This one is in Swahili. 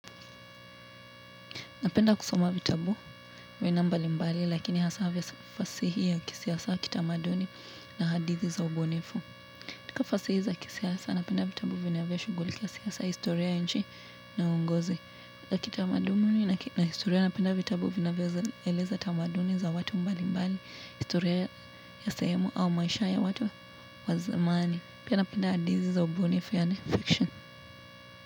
Napenda kusoma vitabu aina mbali mbali, lakini hasaa vya fasihi au kisiasa, kitamaduni na hadithi za ubunifu. Katika fasihi za kisiasa napenda vitabu vinavyoshughulikia siasa, historia ya nchi na uongozi, na kitamaduni na historia napenda vitabu vinavyaoeleza tamaduni za watu mbalimbali, historia ya sehemu au maisha ya watu wa zamani. Pia napenda hadithi za ubunifu yaani fiction.